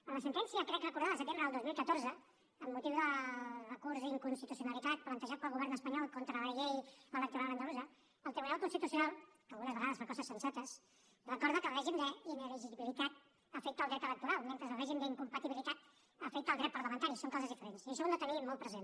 en la sentència crec recordar del setembre del dos mil catorze amb motiu del recurs d’inconstitucionalitat plantejat pel govern espanyol contra la llei electoral andalusa el tribunal constitucional que algunes vegades fa coses sensates recorda que el règim d’inelegibilitat afecta el dret electoral mentre que el règim d’incompatibilitat afecta el dret parlamentari són coses diferents i això ho hem de tenir molt present